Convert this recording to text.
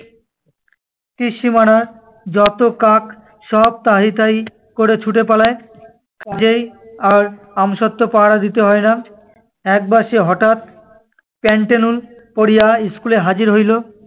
ত্রিসীমানার যত কাক সব তাহি তাহি করে ছুটে পালায়। কাজেই আর আমসত্ত্ব পাহারা দিতে হয় না। একবার সে হঠাৎ পেন্টেলুন পরিয়া school এ হাজির হইল।